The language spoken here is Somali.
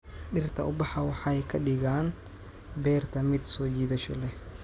Dhirta ubaxa waxay ka dhigaan beerta mid soo jiidasho leh.